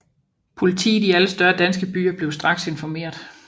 Politiet i alle større danske byer blev straks informeret